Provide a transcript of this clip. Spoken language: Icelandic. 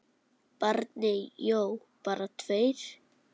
Bjarni Jó: Bara tveir?!